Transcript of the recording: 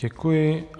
Děkuji.